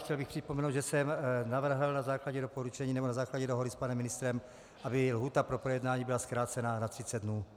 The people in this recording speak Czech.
Chtěl bych připomenout, že jsem navrhl na základě doporučení nebo na základě dohody s panem ministrem, aby lhůta pro projednání byla zkrácena na 30 dnů.